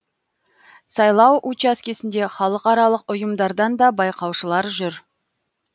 сайлау учаскесінде халықаралық ұйымдардан да байқаушылар жүр